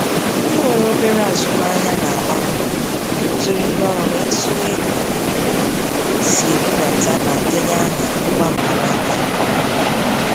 Ndị nwere obere azụmahịa na-agba mbọ ikuziri ndị ọrụ ha etu e si ebudata ma denye aha ngwa mkpanaka nke ọma.